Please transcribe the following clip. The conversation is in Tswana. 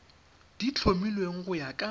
di tlhomilweng go ya ka